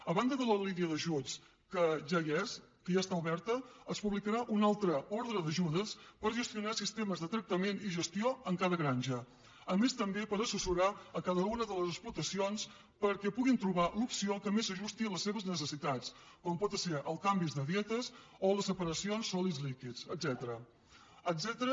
a banda de la línia d’ajuts que ja hi és que ja està oberta es publicarà una altra ordre d’ajudes per gestionar sistemes de tractament i gestió en cada granja a més també per assessorar cada una de les explotacions perquè puguin trobar l’opció que més s’ajusti a les seves necessitats com poden esser els canvis de dietes o les separacions sòlids líquids etcètera